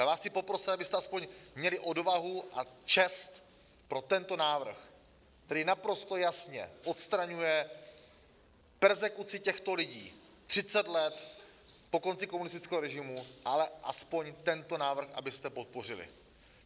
Já vás chci poprosit, abyste aspoň měli odvahu a čest pro tento návrh, který naprosto jasně odstraňuje perzekuci těchto lidí 30 let po konci komunistického režimu, ale aspoň tento návrh abyste podpořili.